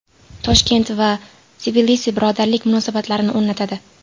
Toshkent va Tbilisi birodarlik munosabatlarini o‘rnatadi.